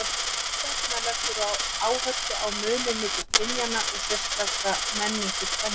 Sú stefna leggur áherslu á muninn milli kynjanna og sérstaka menningu kvenna.